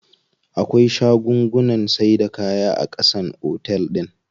Akwai shagunnan saida kaya a ƙasan otel din.